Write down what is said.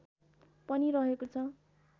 पनि रहेको छ